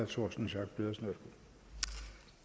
torsten schack pedersen